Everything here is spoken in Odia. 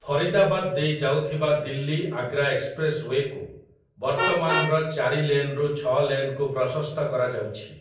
ଫରିଦାବାଦ୍ ଦେଇ ଯାଉଥିବା ଦିଲ୍ଲୀ ଆଗ୍ରା ଏକ୍ସପ୍ରେସ୍ ୱେକୁ ବର୍ତ୍ତମାନର ଚାରି ଲେନ୍‌ରୁ ଛଅ ଲେନ୍‌କୁ ପ୍ରଶସ୍ତ କରାଯାଉଛି ।